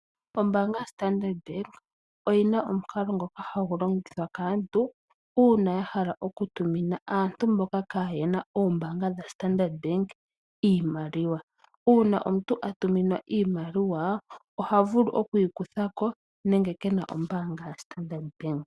Ombaanga yaStandard Bank oyina omukalo ngoka hagu longithwa kaantu uuna yahala okutumina aantu mboka kaayena oombaanga dha Standard Bank iimaliwa. Uuna omuntu atuminwa iimaliwa ohavulu okuyi kutha ko nenge kena ombaanga yaStandard Bank.